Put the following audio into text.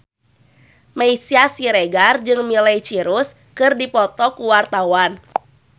Meisya Siregar jeung Miley Cyrus keur dipoto ku wartawan